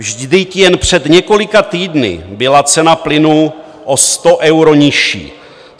Vždyť jen před několika týdny byla cena plynu o 100 euro nižší.